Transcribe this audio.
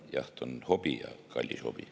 Jaht on hobi, ja kallis hobi.